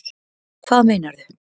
Hvað meinarðu?